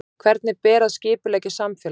Hvernig ber að skipuleggja samfélag?